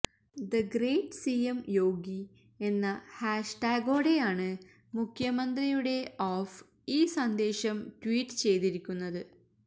the great CM Yogi എന്ന ഹാഷ്ടാഗോടെയാണ് മുഖ്യമന്ത്രിയുടെ ഓഫ് ഈ സന്ദേശം ട്വീറ്റ് ചെയ്തിരിക്കുന്നത്